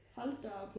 Hold da op